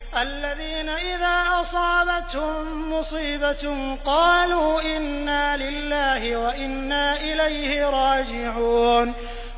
الَّذِينَ إِذَا أَصَابَتْهُم مُّصِيبَةٌ قَالُوا إِنَّا لِلَّهِ وَإِنَّا إِلَيْهِ رَاجِعُونَ